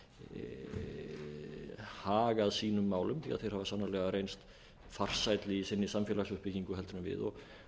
hafa hagað sínum málum því þeir hafa sannarlega reynst farsælli í sinni samfélagsuppbyggingu heldur en við og